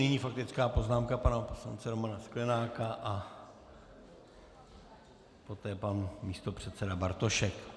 Nyní faktická poznámka pana poslance Romana Sklenáka a poté pan místopředseda Bartošek.